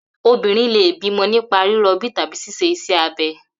Obìnrin lè bímo̩ nípa ríro̩bí tàbí s̩is̩e is̩é̩ abe̩